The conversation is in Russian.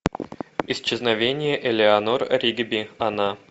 исчезновение элеанор ригби она